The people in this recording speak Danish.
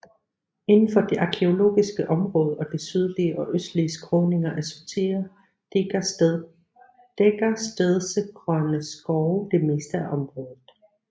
Inden for det arkæologiske område og de sydlige og østlige skråninger af Sotira dækker stedsegrønne skove det meste af området